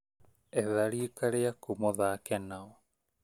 Etha riika rĩaku mũthake nao